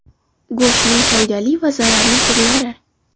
Go‘shtning foydali va zararli turlari.